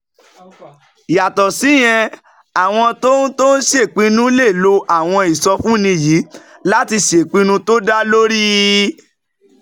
Yàtọ̀ síyẹn, àwọn tó ń tó ń ṣèpinnu lè lo àwọn ìsọfúnni yìí láti ṣèpinnu tó dá lórí